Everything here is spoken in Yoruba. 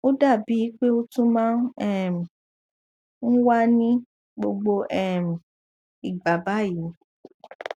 ó dà bí i pé ó tún máa um ń wà ní gbogbo um ìgbà báyìí